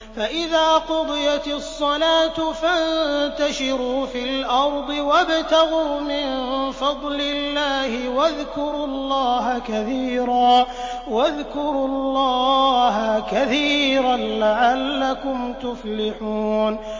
فَإِذَا قُضِيَتِ الصَّلَاةُ فَانتَشِرُوا فِي الْأَرْضِ وَابْتَغُوا مِن فَضْلِ اللَّهِ وَاذْكُرُوا اللَّهَ كَثِيرًا لَّعَلَّكُمْ تُفْلِحُونَ